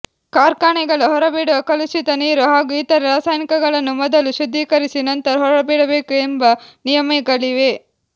ಕಾರ್ಖಾನೆಗಳು ಹೊರಬಿಡುವ ಕಲುಷಿತ ನೀರು ಹಾಗೂ ಇತರೆ ರಾಸಾಯನಿಕಗಳನ್ನು ಮೊದಲು ಶುದ್ಧೀಕರಿಸಿ ನಂತರ ಹೊರಬಿಡಬೇಕು ಎಂಬ ನಿಯಮಗಳಿವೆ